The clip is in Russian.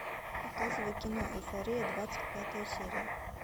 показывай кино эйфория двадцать пятая серия